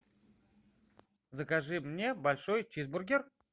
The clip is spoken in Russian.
закажи мне большой чизбургер